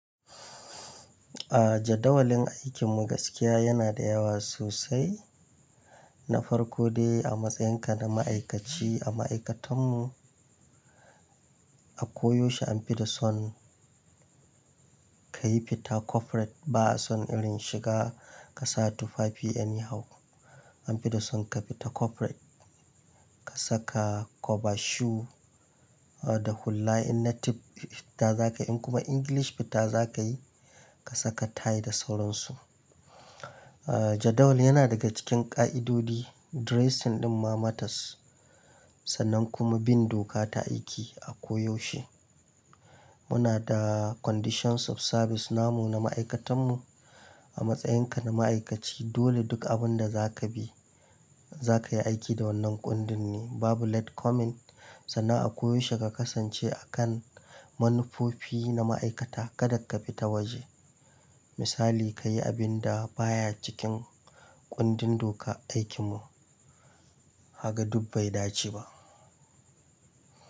A jadawalin aikin mu gaskiya yana da yawa sosai. Na farko dai a matsayin ka na ma'aikaci a ma'aikatan mu, a koyaushe an fi da son ka yi fita corporate. Ba a son irin shiga ka sa tufafi anyhow. An fi da son ka fita corporate. Ka saka koba shoe da hulla in native fita za ka yi kuma English fita za ka yi, ka saka tie da sauransu. A jadawali yana daga cikin ƙa'idodi dressing ɗin ma matters sannan kuma bin doka ta aiki a koyaushe. Muna da conditions of service namu na ma'aikatan mu. A matsayin ka na ma'aikaci dole duk abun da za ka bi, za ka yi aiki da wannan kundin ne. Babu let coming, sannan a koyaushe ka kasance a kan manufofi na ma'aikata. Kada ka fita waje. Misali ka yi abin da baya cikin kundin doka aikin mu, haga duk bai dace ba.